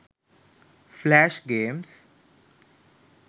flash games